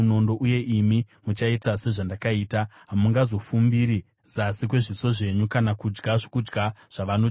Uye imi muchaita sezvandakaita. Hamungazofumbiri zasi kwezviso zvenyu kana kudya zvokudya zvavanochema.